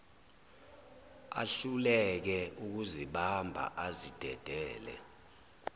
ahluleke ukuzibamba azidedele